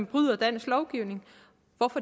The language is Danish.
bryder dansk lovgivning når